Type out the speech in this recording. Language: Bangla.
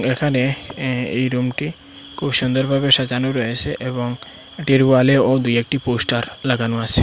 এখানে এ এই রুমটি খুব সুন্দর ভাবে সাজানো রয়েসে এবং এটির ওয়ালেও দু একটি পোস্টার লাগানো আসে।